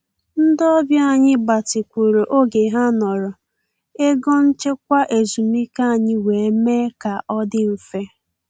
Ndị ọbịa anyị gbatịkwuru oge ha nọrọ, ego nchekwa ezumike anyị wee mee ka ọ dị mfe